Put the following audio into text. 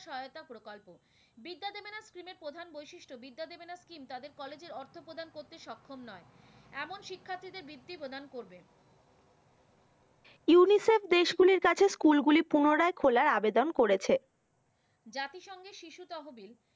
বিদ্যা দেবে না scheme তাদের কলেজের অর্থ প্রদান করতে সক্ষম নয়। এমন শিক্ষার্থী দের বৃত্তি প্রদান করবে। UNICEF দেশ গুলির কাছে স্কুল গুলি পুনরায় খোলার আবেদন করেছে। জাতিসংঘের শিশু তহবিল।